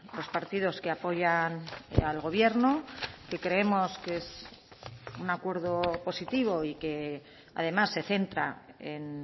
los partidos que apoyan al gobierno que creemos que es un acuerdo positivo y que además se centra en